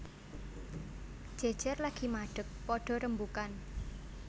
Jejer lagi madeg padha rembugan